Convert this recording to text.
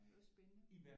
Det var spændende